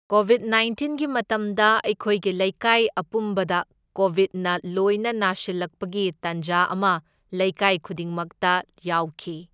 ꯀꯣꯕꯤꯗ ꯅꯥꯏꯟꯇꯤꯟꯒꯤ ꯃꯇꯝꯗ ꯑꯩꯈꯣꯏꯒꯤ ꯂꯩꯀꯥꯏ ꯑꯄꯨꯟꯕꯗ ꯀꯣꯕꯤꯗꯅ ꯂꯣꯏꯅ ꯅꯥꯁꯤꯜꯂꯛꯄꯒꯤ ꯇꯟꯖꯥ ꯑꯃ ꯂꯩꯀꯥꯢ ꯈꯨꯗꯤꯡꯃꯛꯇ ꯌꯥꯎꯈꯤ꯫